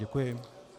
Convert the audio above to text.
Děkuji.